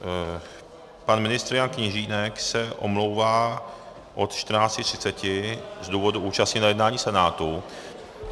Pan ministr Jan Kněžínek se omlouvá od 14.30 z důvodu účasti na jednání Senátu.